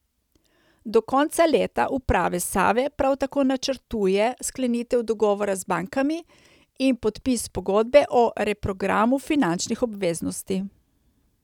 Do konca leta uprava Save prav tako načrtuje sklenitev dogovora z bankami in podpis pogodbe o reprogramu finančnih obveznosti.